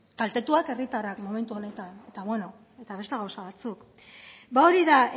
kaltetuak herritarrak eta beno beste gauza batzuk ba hori da